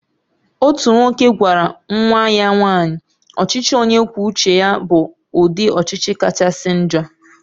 "Otu nwoke gwara nwa ya nwanyị, ""ọchịchị onye kwuo uche ya bụ ụdị ọchịchị kachasị njọ"""